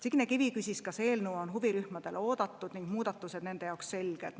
Signe Kivi küsis, kas eelnõu on huvirühmade seas oodatud ning muudatused nende jaoks selged.